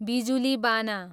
बिजुलीबाना